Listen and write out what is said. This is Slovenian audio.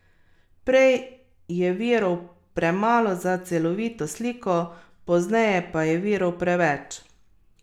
Prej je virov premalo za celovito sliko, pozneje pa je virov preveč.